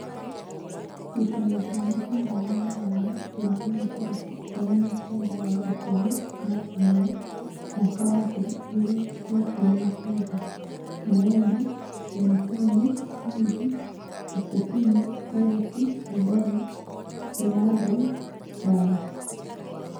Ngucanio cia mũbira Rūraya Jumaine tarĩki ikũmi na-kenda wa ikũmi na ũmwe mwaka wa ngiri igĩrĩ na ikũmi na kenda: Neema, Mbeniteni, Wili, Bochetino, Erĩki, Ngamboni, Benades, Mbanji